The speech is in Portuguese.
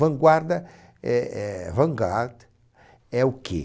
Vanguarda é é vant-garde, é o que?